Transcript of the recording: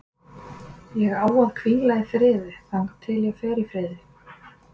Ég á að hvíla í friði þangað til ég fer í friði.